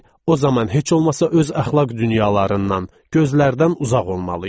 o zaman heç olmasa öz əxlaq dünyalarından, gözlərdən uzaq olmalı idi.